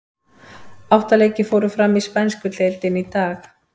Átta leikir fóru fram í spænsku deildinni í dag.